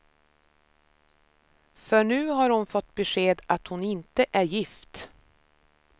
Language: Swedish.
För nu har hon fått besked att hon inte är gift.